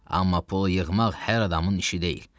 Amma pul yığmaq hər adamın işi deyil.